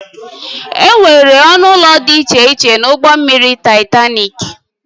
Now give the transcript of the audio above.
Enwere ọnụ ụlọ dị iche iche na ụgbọ mmiri Taịtanik